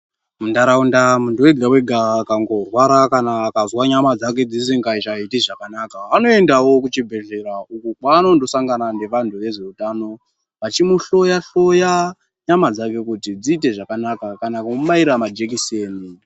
Muntaraunda muntu wega-wega akangorwara kana akangozwa nyama dzake dzisingachaiti zvakanaka, anongoendawo kuchibhadhlera uko kwaanonosangana nevanhu vezveutano, vachimuhloya hloya nyama dzake, kuti dziite zvakanaka, kumubaira majekiseni.